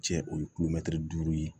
Cɛ o ye duuru ye